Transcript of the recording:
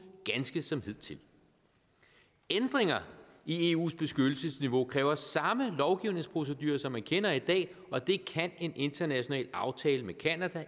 ganske som hidtil ændringer i eus beskyttelsesniveau kræver samme lovgivningsprocedure som man kender i dag og det kan en international aftale med canada